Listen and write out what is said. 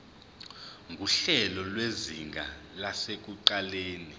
nguhlelo lwezinga lasekuqaleni